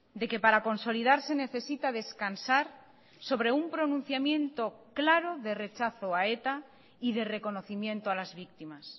de que para consolidarse necesita descansar sobre un pronunciamiento claro de rechazo a eta y de reconocimiento a las víctimas